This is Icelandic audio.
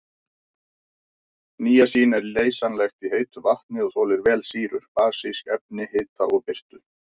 Níasín er leysanlegt í heitu vatni og þolir vel sýrur, basísk efni, hita og birtu.